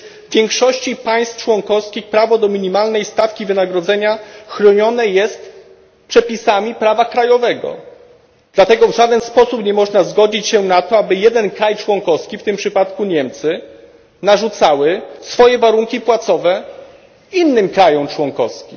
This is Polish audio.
Przecież w większości państw członkowskich prawo do minimalnej stawki wynagrodzenia chronione jest przepisami prawa krajowego, dlatego w żaden sposób nie można się zgodzić na to, aby jedno państwo członkowskie, w tym przypadku Niemcy, narzucało swoje warunki płacowe innym państwom członkowskim.